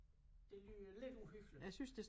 Det lyder lidt uhyggeligt